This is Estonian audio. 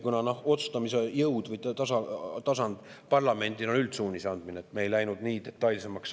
Kuna parlamendil otsustamise jõud või tasand on üldsuunise andmine, siis me ei läinud nii detailseks.